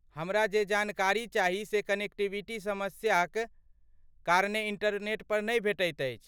हमरा जे जानकारी चाही से कनेक्टिविटी समस्याक कारणे इंटरनेट पर नहि भेटैत अछि।